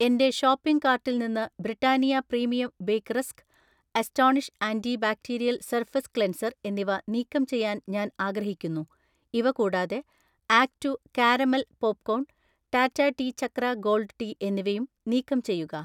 എന്‍റെ ഷോപ്പിംഗ് കാർട്ടിൽ നിന്ന് Britannia premium bake rusk, Astonish anti bacterial surface cleanser എന്നിവ നീക്കം ചെയ്യാൻ ഞാൻ ആഗ്രഹിക്കുന്നു. ഇവ കൂടാതെ, act two caramel popcorn, Tata tea Chakra gold tea എന്നിവയും നീക്കം ചെയ്യുക.